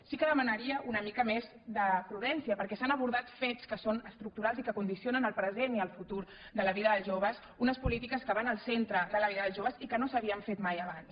sí que demanaria una mica més de prudència perquè s’han abordat fets que són estructurals i que condicionen el present i el futur de la vida dels joves unes polítiques que van al centre de la vida dels joves i que no s’havien fet mai abans